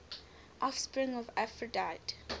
offspring of aphrodite